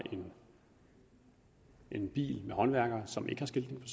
en bil med håndværkere som ikke har skiltning